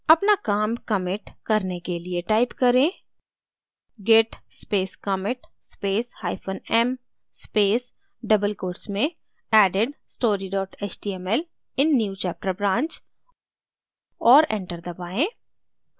अपना काम commit करने के लिए type करें git space commit space hyphen m space double quotes में added story html in newchapter branch और enter दबाएँ